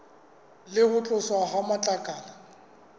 le ho tloswa ha matlakala